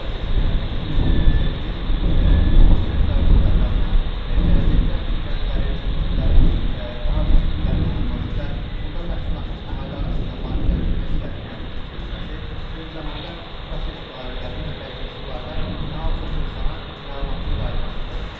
Prosesi həyata keçirməkdə məqsədimiz, Böyük Qayıdış proqramına gələcəkdə gənclərin könüllülərin daha çox tələb olunması və burda məskunlaşmış əhali arasında maarifləndirmə işlərinin həyata keçirilməsi, eyni zamanda proses barədə, mina təhlükəsizliyi barədə daha çox insana məlumatın yayılmasıdır.